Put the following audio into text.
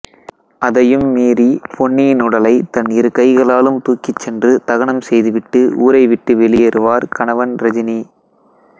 அதையும் மீறி பொன்னியின் உடலை தன் இரு கைகளாலும் தூக்கிச்சென்று தகனம் செய்து விட்டு ஊரை விட்டு வெளியேறுவார்கணவன்ரஜினி